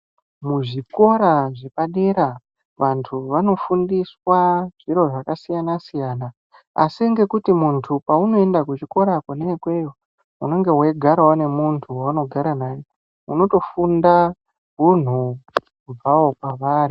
Muzvikora zvepadera vantu vanofundiswa zviro zvakasiyana-siyana. Asi ngekuti muntu paunoenda kuchikora kona ikweyo unonga weigarawo nemuntu weunogara naye, unotofunda hunhu kubvawo kwavari.